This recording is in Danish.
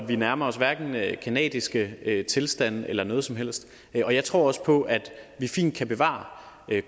vi nærmer os hverken canadiske tilstande eller noget som helst og jeg tror også på at vi fint kan bevare